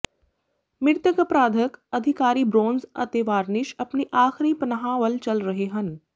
ਮ੍ਰਿਤਕ ਅਪਰਾਧਕ ਅਧਿਕਾਰੀ ਬ੍ਰੋਨਜ਼ ਅਤੇ ਵਾਰਨਿਸ਼ ਵਿਚ ਆਪਣੀ ਆਖ਼ਰੀ ਪਨਾਹ ਵੱਲ ਚੱਲ ਰਹੇ ਹਨ